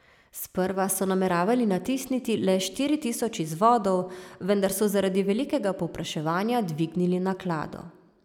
Sprva so nameravali natisniti le štiri tisoč izvodov, vendar so zaradi velikega povpraševanja dvignili naklado.